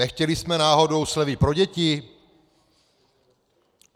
Nechtěli jsme náhodou slevy pro děti?